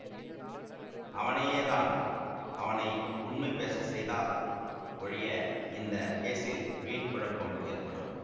அவனையேதான் அவனை உண்மை பேச செய்தால் ஒழிய இந்த கேஸில் வீண் குழப்பம் ஏற்படும்